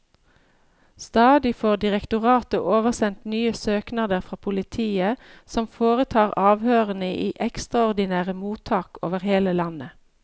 Stadig får direktoratet oversendt nye søknader fra politiet, som foretar avhørene i ekstraordinære mottak over hele landet.